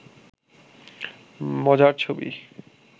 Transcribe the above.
মজার ছবি